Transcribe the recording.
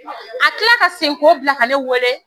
A kila la ka segin ko bila ka ne wele